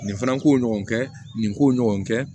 Nin fana ko ɲɔgɔn kɛ nin ko ɲɔgɔn kɛ